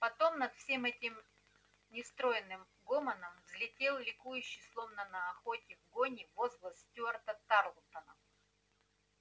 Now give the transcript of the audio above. потом над всем этим нестройным гомоном взлетел ликующий словно на охоте в гоне возглас стюарта тарлтона